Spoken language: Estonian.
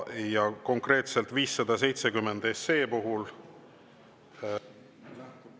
Ja konkreetselt 570 SE puhul …